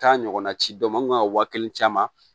Taa ɲɔgɔnna ci an kun ka waa kelen caman